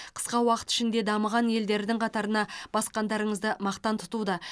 қысқа уақыт ішінде дамыған елдердің қатарына басқандарыңызды мақтан тұтуда